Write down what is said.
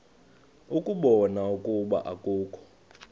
ukubona ukuba akukho